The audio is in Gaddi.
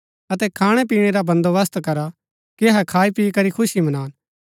अतै खाणै पीणै रा बन्‍दोबस्त करा कि अहै खाई पी करी खुशी मनान